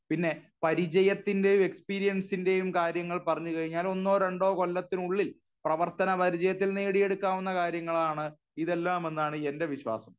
പിന്നെ പരിചയത്തിന്റെയോ എക്സ്പീരിയൻസിന്റെയും കാര്യങ്ങൾ പറഞ്ഞു കഴിഞ്ഞാൽ ഒന്നോ രണ്ടോ കൊല്ലത്തിനുള്ളിൽ പ്രവർത്തന പരിചയത്തിൽ നേടിയെടുക്കാവുന്ന കാര്യങ്ങളാണ് ഇതെല്ലാമെന്നാണ് എന്റെ വിശ്വാസം.